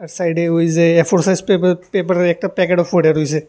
সাইডে ওই যে এ ফোর সাইজ পেপা পেপারের একটা প্যাকেটও পইড়ে রইসে।